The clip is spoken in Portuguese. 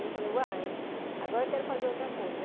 Aí eu falei, uai, agora eu quero fazer outra coisa.